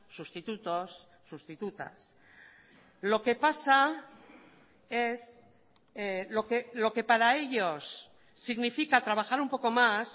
sustitutos sustitutas lo que pasa es lo que para ellos significa trabajar un poco más